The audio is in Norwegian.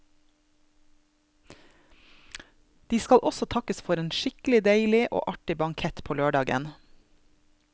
De skal også takkes for en skikkelig deilig og artig bankett på lørdagen.